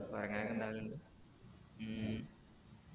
കൊരങ്ങാനൊക്കെ ഇണ്ടാവലിണ്ട് ഉം